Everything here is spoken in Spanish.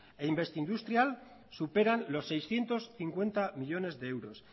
e investindustrial superan los seiscientos cincuenta millónes de euros